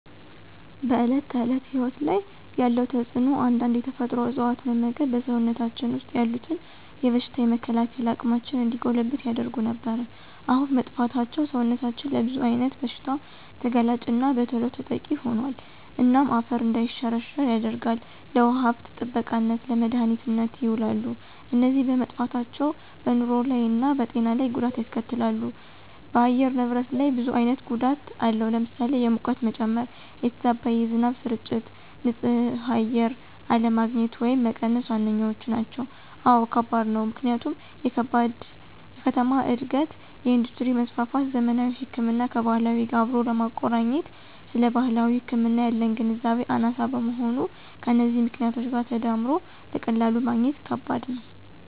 በዕለት ተዕለት ሕይወት ላይ ያለው ተጽእኖ አንዳንድ የተፈጥሮ እፅዋት መመግብ በሰውነታችን ወሰጥ ያሉትን የበሽታ የመከላከል አቅማችን እንዲጎለብት ያደርጉ ነበር። አሁን መጥፍታቸው ሰውነታችን ለብዙ አይነት ብሽታ ተጋላጭና በተሎ ተጠቂ ሆኖል። እናም አፈር እንዳይሸረሸራ ያደርጋል፣ ለውሃ ሀብት ጥበቃነት፣ ለመድሀኒትነት የውላሉ። እነዚ በመጠፍታቸው በንሮ ላይ እና በጤና ለይ ጎዳት ያስከትላሉ ደ በአየር ንብረት ላይ ብዙ አይነት ጎዳት አለው ለምሳሌ፦ የሙቀት መጨመ፣ የተዛባ የዝናብ ስርጭት፣ ን ፅህ አየር አለግኝት ወየም መቀነስ ዋነኛዎቹ ናቸው። አወ ከባድ ነው፦ ምክንያቱም የከተማ እድገት፣ የእንዱስትሪ መስፍፍት፣ ዘመናዊ ህክምናን ከባህላዊ ጋር አብሮ አለማቆረኘት ስለባህላዊ ህክምና ያለን ግንዛቤ አናሳ መሆን ከነዚህ ምክኔቶች ጋር ተዳምሮ በቀላሉ ማግኘት ከበድ ነው።